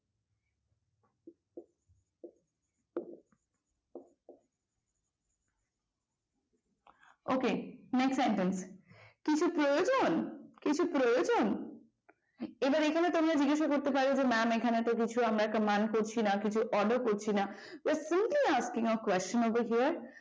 ok next sentence কিছু প্রয়োজন কিছু প্রয়োজন এবার এখানে তোমরা জিজ্ঞাসা করতে পারো যে এখানে তো আমরা কিছু command বা order করছি না if you have a question over here